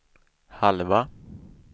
halva